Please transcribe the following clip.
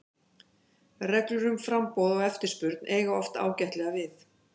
Reglur um framboð og eftirspurn eiga oft ágætlega við.